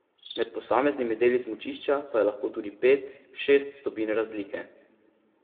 Med posameznimi deli smučišča pa je lahko tudi pet, šest stopinj razlike.